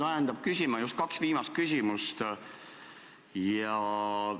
Mind ajendasid küsima just kaks viimast küsimust.